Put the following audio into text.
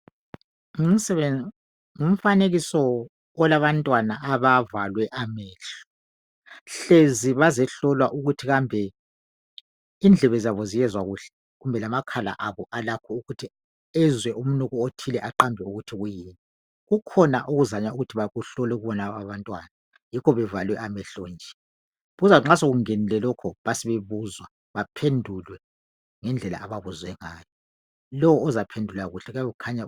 Ngumfanekiso olabantwana abavalwe amehlo ,hlezi bazehlolwa ukuthi kambe indlebe zabo ziyezwa kuhle kumbe lamakhala abo alakho ukuthi ezwe umnuko othile aqambe ukuthi kuyini. Kukhona ukuzanywa ukudinga uhlupho kulaba abantwana yikho bevalwe amehlo nje. Kuzathi nxa sekungenile lokho besebuzwa baphendulwe ngendlela ababuzwe ngayo. Lowo ozaphendula kuhle kuyabe kukhanya